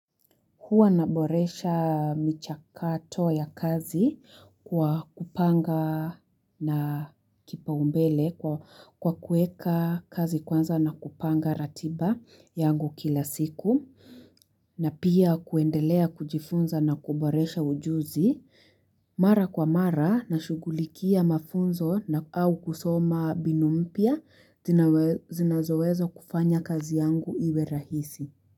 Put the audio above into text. Huwa naboresha michakato ya kazi kwa kupanga na kipa umbele kwa kuweka kazi kwanza na kupanga ratiba yangu kila siku. Na pia kuendelea kujifunza na kuboresha ujuzi mara kwa mara na shughulikia mafunzo na au kusoma binu mpya zinazoweza kufanya kazi yangu iwe rahisi.